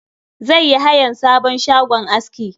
Zai yi hayan sabon shagon aski.